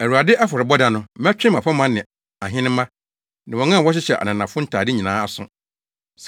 “ Awurade afɔrebɔ da no, mɛtwe mmapɔmma ne ahenemma ne wɔn a wɔhyehyɛ ananafo ntade nyinaa aso.